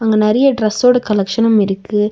அங்க நெறைய டிரஸ்ஸோட கலெக்சனும் இருக்கு.